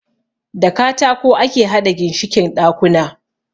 Da katako ake haɗa ginshikin ɗakuna.